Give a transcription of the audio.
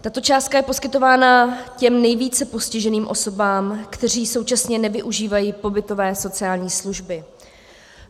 Tato částka je poskytována těm nejvíce postiženým osobám, které současně nevyužívají pobytové sociální služby.